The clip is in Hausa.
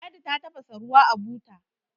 ladi ta tafasa ruwa a buta